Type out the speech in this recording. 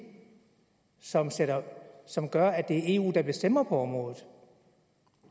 som som gør at det er eu der bestemmer på området